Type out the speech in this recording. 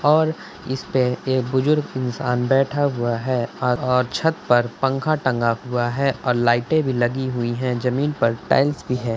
और इस पे एक बुजुर्ग इंसान बैठा हुआ है अ और छत पर पंखा टंगा हुआ है और लाइट भी लगी हुई हैं। जमीन पर टाइल्स भी हैं।